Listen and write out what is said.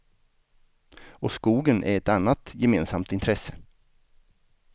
Och skogen är ett annat gemensamt intresse.